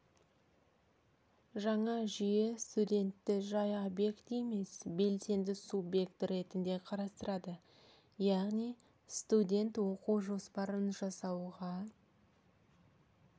жаңа жүйе студентті жай объект емес белсенді субъект ретінде қарастырады яғни студент оқу жоспарын жасауға